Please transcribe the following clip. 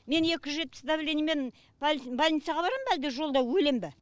мен екі жүз жетпіс давлениемен больницаға барам ба әлде жолда өлем ба